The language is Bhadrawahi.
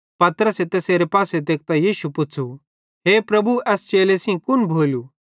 पतरसे तैसेरे पासे तेकतां यीशुए पुच़्छ़ू हे प्रभु एस चेले सेइं कुन भोलू